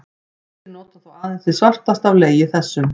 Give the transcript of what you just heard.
Ýmsir nota þó aðeins hið svartasta af legi þessum.